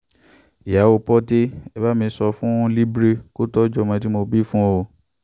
ìyàwó porté e bá mi sọ fún libre kó tọ́jú ọmọ tí mo bí fún un